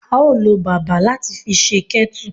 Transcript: A o lo bàbà lati fi se kettle